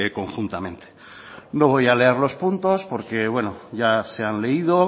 conjuntamente no voy a leer los puntos porque bueno ya se han leído